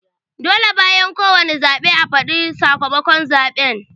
Dole bayan ko wane zaɓe a fadi sakamakon zaɓen